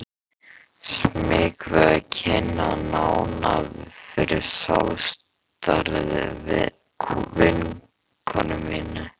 Smeyk við að kynna hann nánar fyrir sjálfstæðri vinkonu minni.